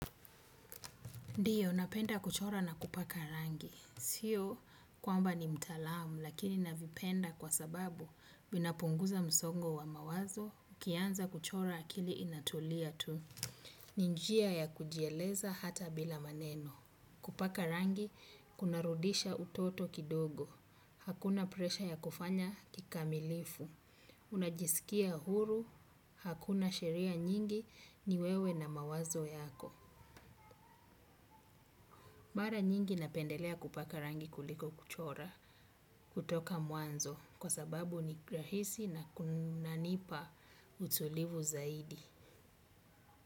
Ndio, napenda kuchora na kupaka rangi. Sio, kwamba ni mtaalamu, lakini navipenda kwa sababu vinapunguza msongo wa mawazo, nikianza kuchora akili inatulia tu. Ni njia ya kujieleza hata bila maneno. Kupaka rangi, kuna rudisha utoto kidogo. Hakuna presha ya kufanya kikamilifu. Unajisikia huru, hakuna sheria nyingi ni wewe na mawazo yako. Mara nyingi napendelea kupaka rangi kuliko kuchora kutoka mwanzo. Kwa sababu ni rahisi na kunanipa utulivu zaidi.